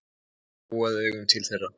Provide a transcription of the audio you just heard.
Gjóaði augunum til þeirra.